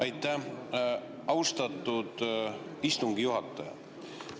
Aitäh, austatud istungi juhataja!